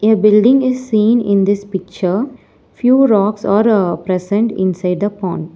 a building is seen in this picture few rocks are ah present inside the pond.